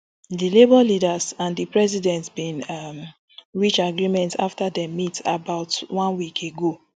di labour leaders and di president bin um reach agreement afta dem meet about one week ago